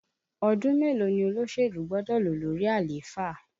Ọdún mélòó ni olóṣèlú gbọ́dọ̀ lò lórí àléfà?